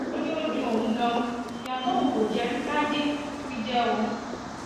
ó ní ó dun òun ganan ìyá tóun kò jẹ rí láyé ni wọn fi jẹ òun